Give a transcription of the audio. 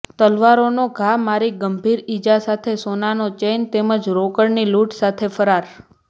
તલવારનો ઘા મારી ગંભીર ઇજા સાથે સોનાનો ચેઇન તેમજ રોકડની લૂંટ સાથે ફરાર